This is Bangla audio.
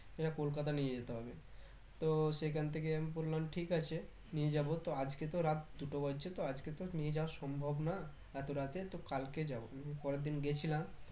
এরা কলকাতা নিয়ে যেতে হবে তো সেখান থেকে আমি বললাম ঠিক আছে নিয়ে যাবো তো আজকে তো রাত দুটো বাজছে তো আজকে তো নিয়ে যাওয়া সম্ভব না এতো রাতে তো কালকে যাবো উম পরের দিন গেছিলাম